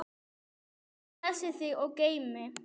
Guð blessi þig og geymi.